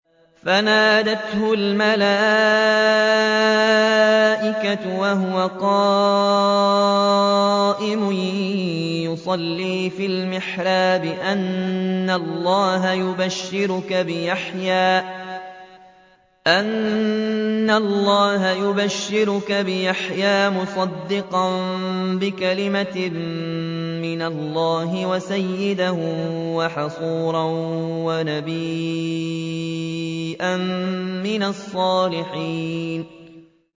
فَنَادَتْهُ الْمَلَائِكَةُ وَهُوَ قَائِمٌ يُصَلِّي فِي الْمِحْرَابِ أَنَّ اللَّهَ يُبَشِّرُكَ بِيَحْيَىٰ مُصَدِّقًا بِكَلِمَةٍ مِّنَ اللَّهِ وَسَيِّدًا وَحَصُورًا وَنَبِيًّا مِّنَ الصَّالِحِينَ